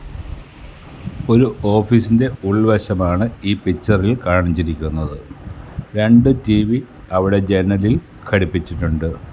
ഒരു ഓഫീസിൻ്റെ ഉൾവശം ആണ് ഈ പിക്ചറിൽ കാണിച്ചിരിക്കുന്നത് രണ്ട് ടി_വി അവിടെ ജനലിൽ ഘടിപ്പിച്ചിട്ടുണ്ട്.